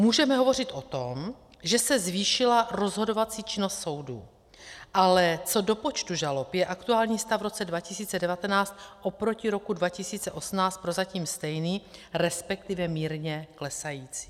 Můžeme hovořit o tom, že se zvýšila rozhodovací činnost soudů, ale co do počtu žalob je aktuální stav v roce 2019 oproti roku 2018 prozatím stejný, respektive mírně klesající.